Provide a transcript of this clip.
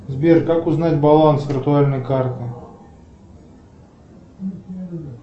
сбер как узнать баланс виртуальной карты